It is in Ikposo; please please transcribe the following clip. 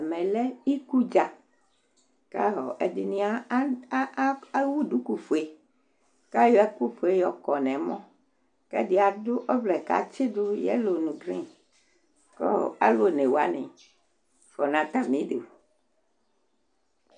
Ɛmɛlɛ ikudza kʋ ɛɖìní ɛwu ɖʋku fʋe kʋ ayɔ ɛku fʋe yɔkɔ ŋu ɛmɔ Ɛɖi aɖu ɔvlɛ kʋ atsiɖu yellow ŋu green kʋ alu ɔnewaŋi fʋanu atamiɖu